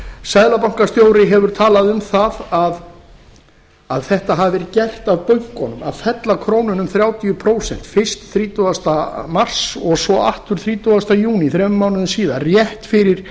seðlabankastjóri hefur talað um að þetta hafi verið gert af bönkunum að fella krónuna um þrjátíu prósent fyrst þrítugasta mars og svo þrítugasta júní þrem mánuðum síðar rétt fyrir